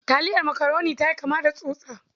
Taliyar makaroni ta yi kama da tsutsa.